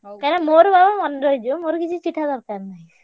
କାରଣ ମୋର ମନେ ରହିଯିବ ମୋର କିଛି ଚିଠା ଦରକାର ନାହିଁ।